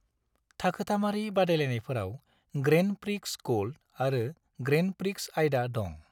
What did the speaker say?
थाखोथामारि बादायलायनायफोराव grand prix gold आरो grand prix आयदा दं।